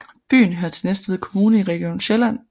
Byen hører til Næstved Kommune i Region Sjælland